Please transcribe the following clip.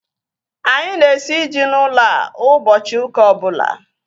Anyị na-esi ji n'ụlọ a ụbọchị ụka ọbụla